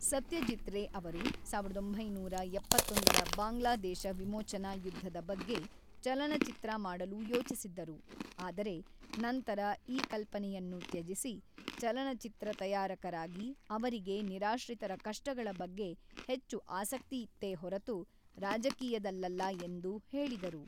ಸತ್ಯಜೀತ್ ರೇ ಅವರು ಸಾವಿರದ ಒಂಬೈನೂರ ಎಪ್ಪತ್ತೊಂದರ ಬಾಂಗ್ಲಾದೇಶ ವಿಮೋಚನಾ ಯುದ್ಧದ ಬಗ್ಗೆ ಚಲನಚಿತ್ರ ಮಾಡಲು ಯೋಚಿಸಿದ್ದರು, ಆದರೆ ನಂತರ ಈ ಕಲ್ಪನೆಯನ್ನು ತ್ಯಜಿಸಿ, ಚಲನಚಿತ್ರ ತಯಾರಕರಾಗಿ, ಅವರಿಗೆ ನಿರಾಶ್ರಿತರ ಕಷ್ಟಗಳ ಬಗ್ಗೆ ಹೆಚ್ಚು ಆಸಕ್ತಿಯಿತ್ತೇ ಹೊರತು ರಾಜಕೀಯದಲ್ಲಲ್ಲ ಎಂದು ಹೇಳಿದರು.